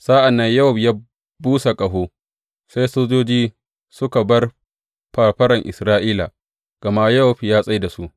Sa’an nan Yowab ya busa ƙaho, sai sojoji suka bar fafaran Isra’ila, gama Yowab ya tsai da su.